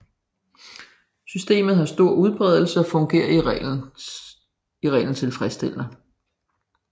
Systemet havde stor udbredelse og fungerede i reglen tilfredsstillende